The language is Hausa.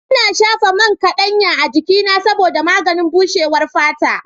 Ina shafa man kaɗanya a jikina saboda maganin bushewar fata.